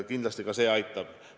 Kindlasti ka see aitab.